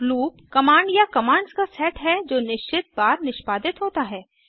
loop command या commands का set है जो निश्चित बार निष्पादित होता है